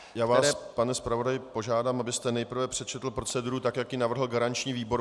Já vás, pane zpravodaji, požádám, abyste nejprve přečetl proceduru tak, jak ji navrhl garanční výbor.